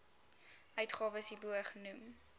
uitgawes hierbo genoem